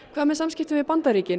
hvað með samskipti við Bandaríkin